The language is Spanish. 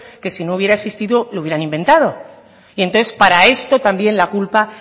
que si no hubiera existido lo hubieran inventado y entonces para esto también la culpa